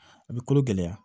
A bɛ kolo gɛlɛya